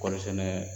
Kɔɔri sɛnɛ